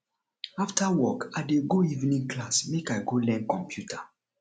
after work i dey go evening class make i go learn computer